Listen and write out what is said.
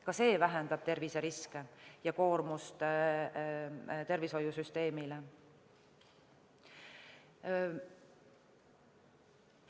Ka need vähendavad terviseriske ja tervishoiusüsteemi koormust.